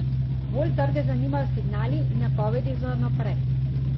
Bolj trge zanimajo signali in napovedi za vnaprej.